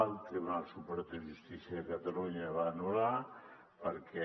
el tribunal superior de justícia de catalunya el va anul·lar perquè